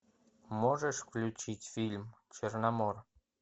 можешь включить фильм черномор